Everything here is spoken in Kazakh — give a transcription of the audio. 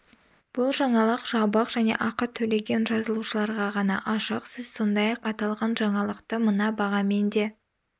бұл жаңалық жабық және ақы төлеген жазылушыларға ғана ашық сіз сондай-ақ аталған жаңалықты мына бағамен де